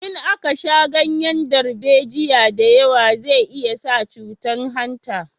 In aka sha ganyen darbejiya da yawa zai iya sa cutan hanta